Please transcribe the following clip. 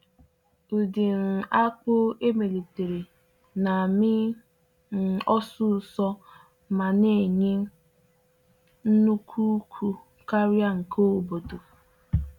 Ụdị um akpụ emelitere na-amị um osisor ma na-enye nnukwu ukwu karịa nke obodo.